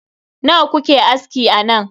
Nawa kuke aski a nan?